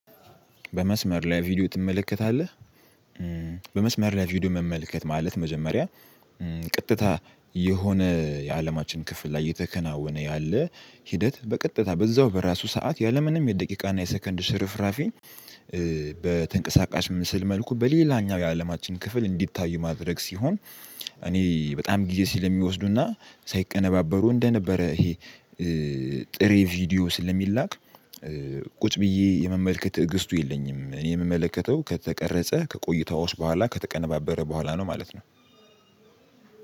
በመስመር ላይ ቪዲዮ ትመለከታለህ? በመስመር ላይ ቪዲዮ መመልከት ማለት መጀመሪያ ቀጥታ የሆነ የአለማችን ክፍል ላይ እየተከናወነ ያለ ሂደት በቀጥታ በዛው በራሱ ሰዓት ያለምንም የደቂቃና የሰከንድ ሽርፍራፊ። በተንቀሳቃሽ ምስል መልኩ በሌላኛው የአለማችን ክፍል እንዲታይ ማድረግ ሲሆን። እኔ በጣም ጊዜ ስለሚወስዱና ሳይቀነባበሩ እንደነበረ ይሄ ጥሬ ቪዲዮ ስለሚላክ ቁጭ ብዬ የመመልከት ትዕግስቱ የለኝም። እኔ የምመለከተው ከተቀረጸ ከቆይታዎች በኋላ ከተቀነባበረ በኋላ ነው ማለት ነው።